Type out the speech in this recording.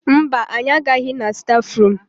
Mba, anyị agaghị na stafrum.